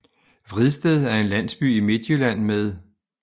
Vridsted er en landsby i Midtjylland med